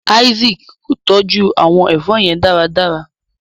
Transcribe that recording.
Isaac kò tọjú àwọn èfó yén dáradára.